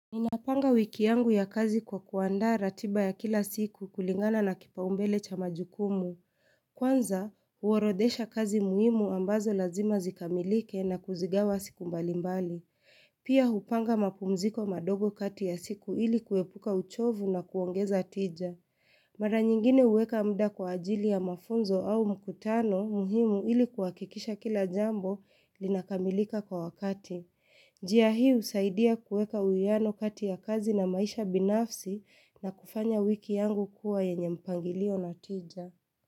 Ninapanga wiki yangu ya kazi kwa kuanda ratiba ya kila siku kulingana na kipau mbele cha majukumu. Kwanza, huorodhesha kazi muhimu ambazo lazima zikamilike na kuzigawa siku mbalimbali. Pia hupanga mapumziko madogo kati ya siku ili kuepuka uchovu na kuongeza tija. Mara nyingine huweka mda kwa ajili ya mafunzo au mkutano muhimu ili kuhakikisha kila jambo linakamilika kwa wakati. Njia hii husaidia kueka uiano kati ya kazi na maisha binafsi na kufanya wiki yangu kuwa yenye mpangilio na tija.